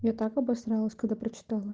я так обосралась когда прочитала